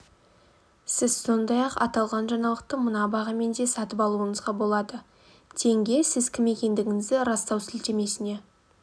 сіз сондай-ақ аталған жаңалықты мына бағамен де сатып алуыңызға болады тенге сіз кім екендігіңізді растау сілтемесіне